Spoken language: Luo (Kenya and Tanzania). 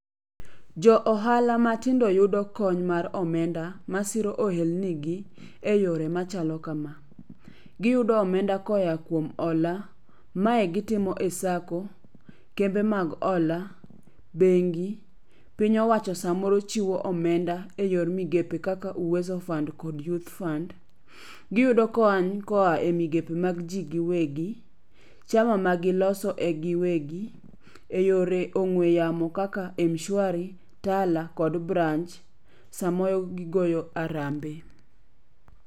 Jo ohala matindo yudo kony mar omenda masiro ohelnigi e yore machalo kama. Giyudo omenda koya kuom hola. Mae gitimo e sacco, kembe mag hola, bengi, piny owacho samoro chiwo omenda e yor migepe kaka uwezo fund kod youth fund. Giyudo kony koa e migepe mag ji giwegi, chama magiloso e giwegi, e yore ong'we yamo kaka mshwari, tala kod branch, samoro gigoyo arambe.